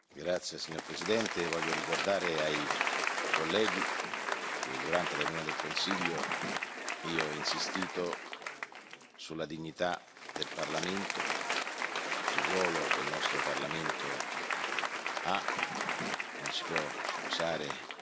Voglio ricordare ai colleghi che durante la riunione del Consiglio io ho insistito sulla dignità del Parlamento, sul ruolo che il nostro Parlamento ha, non si può usare come un taxi,